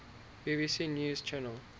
bbc news channel